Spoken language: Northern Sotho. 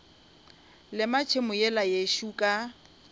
lema tšhemo yela yešo ka